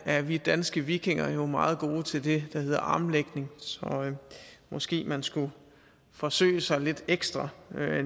er vi danske vikinger jo meget gode til det der hedder armlægning så måske man skulle forsøge sig lidt ekstra